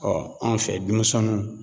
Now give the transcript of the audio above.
Ɔ anw fɛ dumusɛnnunw